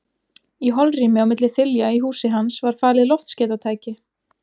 Í holrými á milli þilja í húsi hans var falið loftskeytatæki.